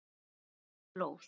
Hunang og blóð